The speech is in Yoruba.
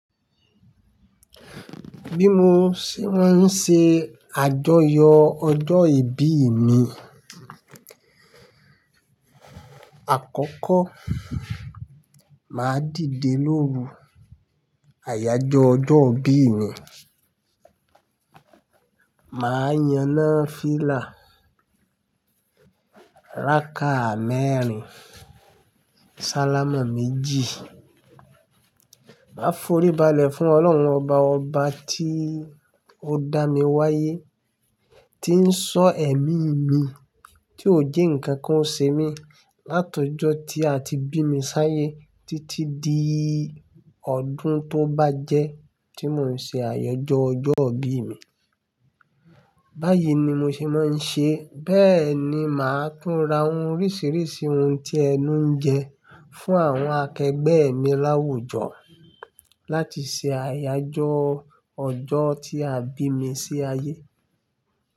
Bí mo ṣe máa ń ṣe àjọyọ̀ ọjọ́ ìbí mi, àkọ́kọ́ máa dìde lóru àyájọ́ ọjọ́ ìbí mi Máa yaná fìlà ráka mẹ́rin, sálámà méjì. Máa forí balẹ̀ fún Ọlọ́run ọba ọba tí ó dá mi wáyé, tí ń ṣọ́ ẹ̀mí mi, tí ò je nkan kan sé mi látọọjọ́ tí a ti bí mi sáyé títí di ọdún tó bá jẹ́ tí mò ń ṣe àyájọ́ ọjọ́ ìbí mi. Báyìí ni mo ṣe máa ń ṣe, bẹ́ẹ̀ ni màá tún ra ohun oríṣiríṣi ohun tí ẹnu ń jẹ fún àwọn akẹgbẹ́ mi láwùjọ láti ṣe àyájọ́ ọjọ́ tí a bí mi sí ayé.